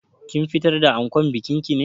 Kin fitar da ankon bikin ki ne?